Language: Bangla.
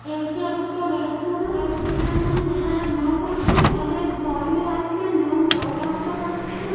এইটা একটা রেস্টুরেন্ট । রেস্টুরেন্টের ভেতরে লোক আছে। অনেক গাড়ি আছে। লোক যাওয়া আসা করছে।